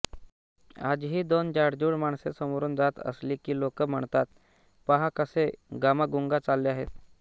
आजही दोन जाडजूड माणसे समोरून जात असली की लोक म्हणतात पहा कसे गामागुंगा चालले आहेत